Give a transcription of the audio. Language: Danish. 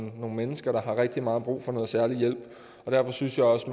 nogle mennesker der har rigtig meget brug for noget særlig hjælp og derfor synes jeg også